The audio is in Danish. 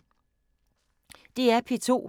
DR P2